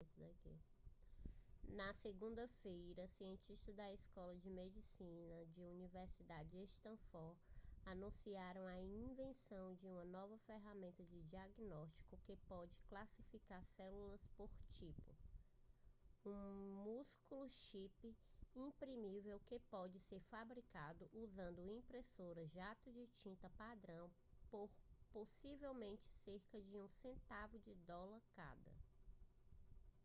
na segunda-feira cientistas da escola de medicina da universidade de stanford anunciaram a invenção de uma nova ferramenta de diagnóstico que pode classificar células por tipo um minúsculo chip imprimível que pode ser fabricado usando impressoras jato de tinta padrão por possivelmente cerca de um centavo de dólar cada